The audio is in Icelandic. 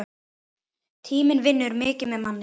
Tíminn vinnur mikið með manni.